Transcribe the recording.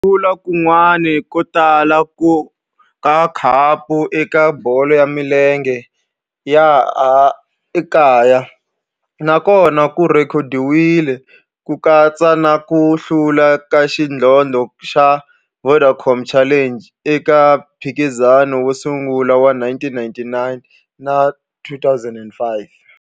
Ku hlula kun'wana ko tala ka khapu eka bolo ya milenge ya laha kaya na kona ku rhekhodiwile, ku katsa na ku hlula ka xidlodlo xa Vodacom Challenge eka mphikizano wo sungula wa 1999 na 2005.